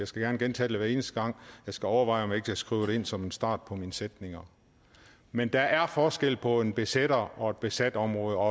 skal gerne gentage det hver eneste gang og jeg skal overveje om ikke jeg skulle skrive det ind som en start på mine sætninger men der er forskel på en besætter og et besat område og